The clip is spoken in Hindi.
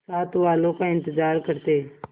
साथ वालों का इंतजार करते